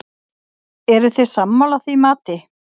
Eruð þið sammála því mati?